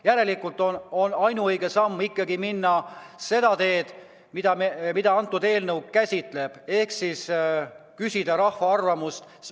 Järelikult on ainuõige samm minna seda teed, mida eelnõu käsitleb, ehk küsida rahva arvamust.